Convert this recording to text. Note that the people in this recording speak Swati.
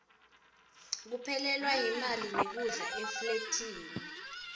kuphelelwa yimali nekudla eflathini